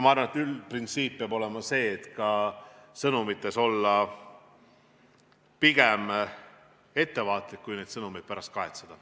Ma arvan, et üldprintsiip peab olema see, et ka sõnumites võiks olla pigem ettevaatlik, et mitte neid sõnumeid pärast kahetseda.